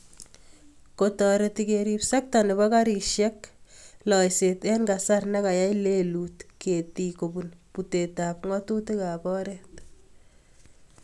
Kotoreti keriip sekta nebo garisyekan loiseet eng kasar ne kayai lelut ketiik kobun putetab ng'atutiikab oret.